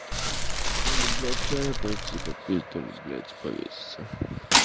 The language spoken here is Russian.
то ли блядь чай пойти попить то ли блядь повеситься